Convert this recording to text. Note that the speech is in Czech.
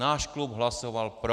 Náš klub hlasoval pro.